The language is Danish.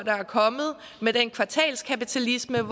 er kommet og med den kvartalskapitalisme